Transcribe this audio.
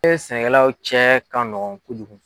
sɛnɛkɛlaw cɛ ka nɔgɔn kojugu.